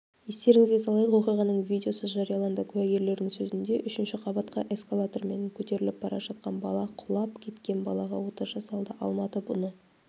естеріңізге салайық оқиғаның видеосы жарияланды куәгерлердің сөзінде үшінші қабатқа эскалатормен көтеріліп бара жатқан бала құлап кеткен балаға ота жасалды алматы бұны